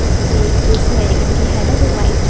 सभी एक ड्रेस में है एक इनकी हेड है जो व्हाइट --